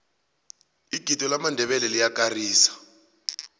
igido lamandebele liyakarisa